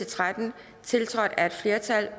tretten tiltrådt af et flertal